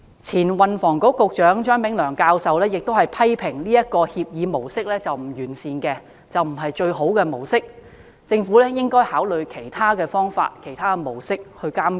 前運輸及房屋局局長張炳良教授亦批評這協議模式並不完善，並非最佳模式，政府應考慮以其他方法和模式監管。